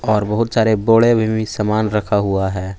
और बहुत सारे बोड़े में भी समान रखा हुआ है।